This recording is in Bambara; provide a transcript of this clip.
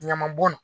Ɲamabɔn